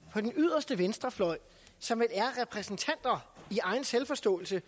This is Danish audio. på den yderste venstrefløj som i egen selvforståelse